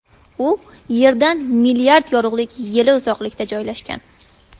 U Yerdan milliard yorug‘lik yili uzoqlikda joylashgan.